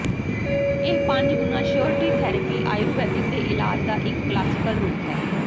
ਇਹ ਪੰਜ ਗੁਣਾ ਸ਼ਿਉਰਿਟੀ ਥੈਰੇਪੀ ਆਯੁਰਵੈਦਿਕ ਦੇ ਇਲਾਜ ਦਾ ਇੱਕ ਕਲਾਸੀਕਲ ਰੂਪ ਹੈ